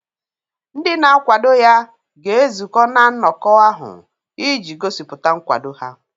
Ndị na-akwado ya ga-ezukọ na nnọkọ ahụ iji gosipụta nkwado ha.